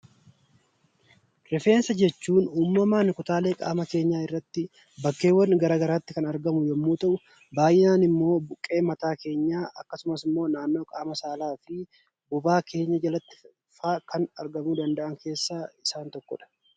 Rifeensa jechuun uumamaan kutaalee qaama keenyaa irratti bakkeewwan gara garaatti kan argamu yommuu ta'u, baay'inaan immoo buqqee mataa keenyaa akkasumas immoo naannoo qaama saalaa fi bobaa keenyaa jalattifaa argamuu kan danda'an keessaa isaan tokkodha.